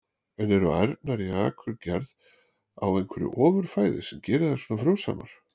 En eru ærnar í Akurgerð á einhverju ofur fæði sem gerir þær svona frjósamar?